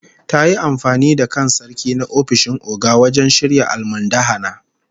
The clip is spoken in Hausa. Ta yi amfani da kan Sarki na ofishin Oga wajen shirya almundahana